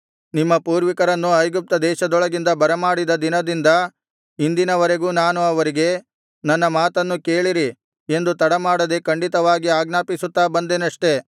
ನಿಮ್ಮ ಪೂರ್ವಿಕರನ್ನು ಐಗುಪ್ತ ದೇಶದೊಳಗಿಂದ ಬರಮಾಡಿದ ದಿನದಿಂದ ಇಂದಿನವರೆಗೂ ನಾನು ಅವರಿಗೆ ನನ್ನ ಮಾತನ್ನು ಕೇಳಿರಿ ಎಂದು ತಡ ಮಾಡದೆ ಖಂಡಿತವಾಗಿ ಆಜ್ಞಾಪಿಸುತ್ತಾ ಬಂದೆನಷ್ಟೆ